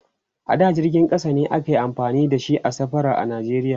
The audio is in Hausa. a da jirgin ƙasa ne ake amfani da shi a safara a nigeria